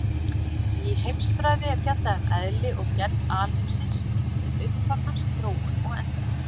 Í heimsfræði er fjallað um eðli og gerð alheimsins, um upphaf hans, þróun og endalok.